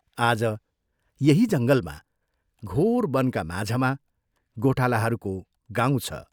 आज यही जंगलमा घोर बनका माझमा गोठालाहरूको गाउँ छ।